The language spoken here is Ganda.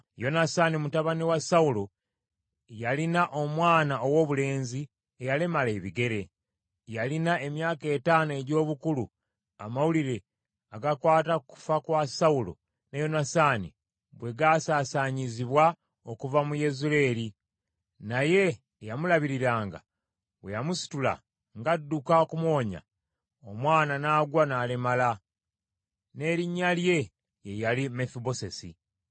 Yonasaani mutabani wa Sawulo yalina omwana owoobulenzi eyalemala ebigere. Yalina emyaka etaano egy’obukulu, amawulire agakwata ku kufa kwa Sawulo ne Yonasaani bwe gaasaasaanyizibwa okuva mu Yezuleeri. Naye eyamulabiriranga bwe yamusitula, ng’adduka okumuwonya, omwana n’agwa n’alemala. N’erinnya lye ye yali Mefibosesi.